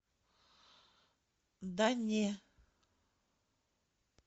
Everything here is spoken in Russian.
да не